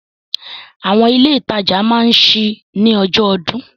Àwọn ilé ìtajà máa ṣí ní ọjọ́ ọdún.